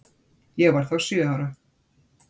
Ég var þá sjö ára.